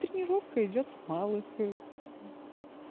тренировка идёт с малых